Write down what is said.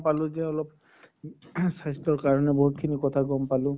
পালো যে অলপ ing স্বাস্থ্য়ৰ কাৰণে বহুত খিনি কথা গম পালো।